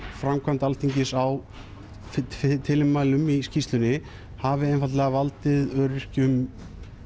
framkvæmd Alþingis á tilmælum í skýrslunni hafi valdið öryrkjum